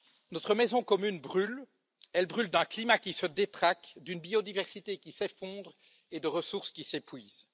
Notre maison commune brûle. Elle brûle d'un climat qui se détraque, d'une biodiversité qui s'effondre et de ressources qui s'épuisent.